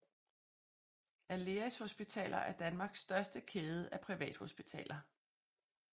Aleris Hospitaler er Danmarks største kæde af privathospitaler